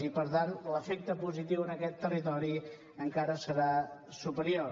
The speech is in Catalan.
i per tant l’efecte positiu en aquest territori encara serà superior